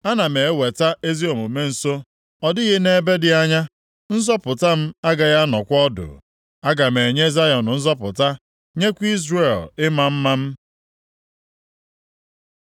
Ana m eweta ezi omume nso, ọ dịghị nʼebe dị anya, nzọpụta m agaghị anọkwa ọdụ. Aga m enye Zayọn nzọpụta, nyekwa Izrel ịma mma m.